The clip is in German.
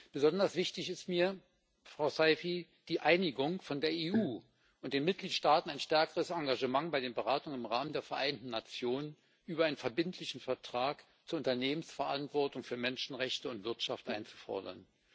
Besonders wichtig ist mir, Frau Saïfi, die Einigung, von der EU und den Mitgliedstaaten ein stärkeres Engagement bei den Beratungen im Rahmen der Vereinten Nationen über einen verbindlichen Vertrag zur Unternehmensverantwortung für Menschenrechte und Wirtschaft einzufordern.